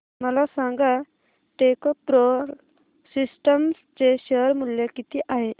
मला सांगा Techpro Systems चे शेअर मूल्य किती आहे